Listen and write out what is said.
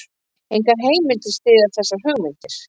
Engar heimildir styðja þessar hugmyndir.